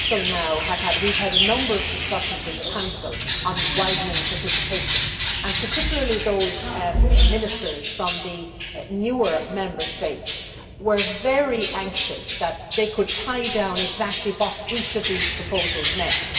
We have had a number of discussions in the Council on widening participation, and particularly those Ministers from the newer Member States were very anxious to be able to tie down exactly what each of these proposals meant.